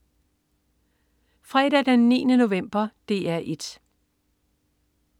Fredag den 9. november - DR 1: